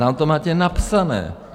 Tam to máte napsané.